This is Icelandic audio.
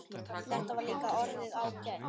Þetta var líka orðið ágætt.